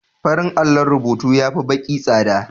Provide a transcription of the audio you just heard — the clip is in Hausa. Farin allon rubutu ya fi baƙi tsada.